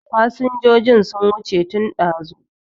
Fasinjojin sun wuce tun ɗazu